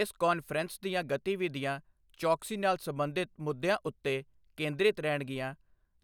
ਇਸ ਕਾਨਫ਼ਰੰਸ ਦੀਆਂ ਗਤੀਵਿਧੀਆਂ ਚੌਕਸੀ ਨਾਲ ਸਬੰਧਿਤ ਮੁੱਦਿਆਂ ਉੱਤੇ ਕੇਂਦ੍ਰਿਤ ਰਹਿਣਗੀਆਂ,